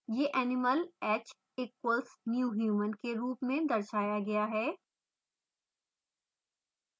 यह animal h equals new human के रूप में दर्शाया गया है